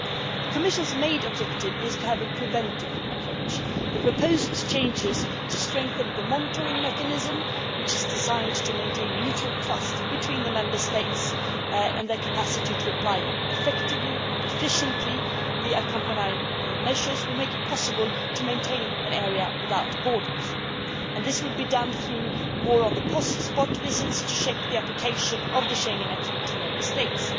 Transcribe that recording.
The Commission's main objective is to have a preventive approach. The proposed changes to strengthen the monitoring mechanism, which is designed to maintain mutual trust between the Member States and their capacity to apply effectively and efficiently the accompanying measures, will make it possible to maintain an area without borders. This will be done through more on the spot visits to check the application of the Schengen acquis to Member States.